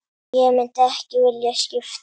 Ég myndi ekki vilja skipta.